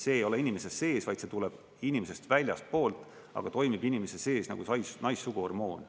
See ei ole inimese sees, vaid see tuleb inimesest väljastpoolt, aga toimib inimese sees nagu naissuguhormoon.